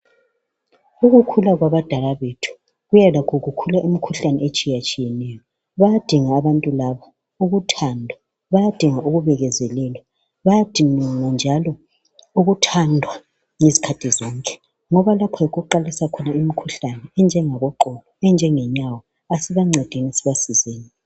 Ukukhula kwabadala bethu, kuya lakho ukukhula imikhuhlane etshiyatshiyeneyo. Bayadinga abantu laba uthando, bayadinga ukubekezelelwa. Bayadinga njalo ukuthandwa izikhathi zonke. Ngoba lapha yikho okuqalisa khona imikhuhlane, enjengeqolo, enjengenyawo. Kasibancedeni, sibasizeni.